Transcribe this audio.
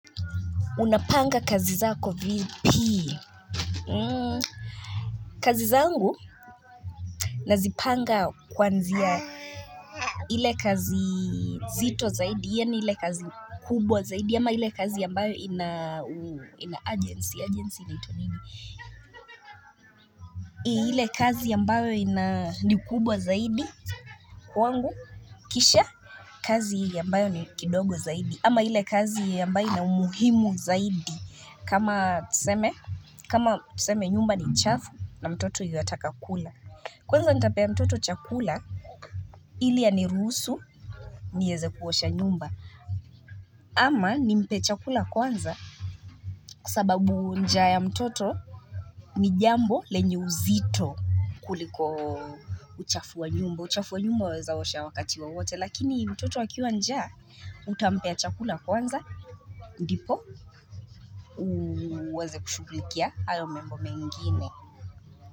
Unapanga kazi zako vipi kazi zangu nazipanga kwanzia ile kazi zito zaidi ile kazi kubwa zaidi ama ile kazi ambayo ina urgency, urgency inaitwa nini ile kazi ambayo ina ni kubwa zaidi kwangu kisha kazi ambayo ni kidogo zaidi ama ile kazi ambayo ina umuhimu zaidi kama tuseme kama tuseme nyumba ni chafu na mtoto yuataka kula Kwanza nitapea mtoto chakula ili anirusu nieze kuosha nyumba ama nimpe chakula kwanza Kwasababu njaa ya mtoto ni jambo lenye uzito kuliko uchafu wa nyumba uchafu wa nyumba waweza osha wakati wowote lakini mtoto akiwa njaa utampea chakula kwanza Ndipo uweze kushugulikia hayo membo mengine.